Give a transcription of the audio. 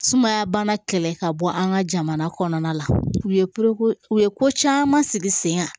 Sumaya bana kɛlɛ ka bɔ an ka jamana kɔnɔna la u ye u ye ko caman sigi sen kan